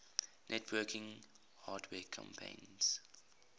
networking hardware companies